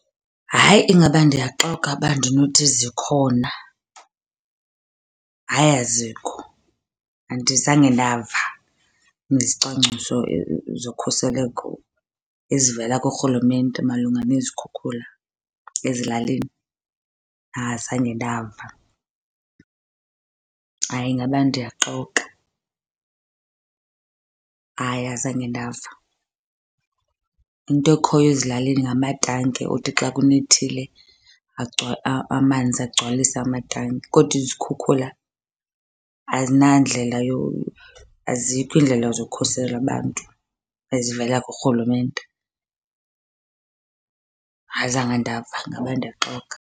Hayi ingaba ndiyaxoka uba ndinothi zikhona. Hayi azikho, andizange ndava ngezicwangciso zokhuseleko ezivela kuRhulumente malunga nezikhukhula ezilalini. Azange ndava, hayi ingaba ndiyaxoka, hayi azange ndava. Into ekhoyo ezilalini ngamatanki othi xa kunethile amanzi agcwalise amatanki. Kodwa izikhukhula azinandlela azikho iindlela zokukhusela abantu ezivela kuRhulumente. Azange ndava ngaba ndiyaxoka.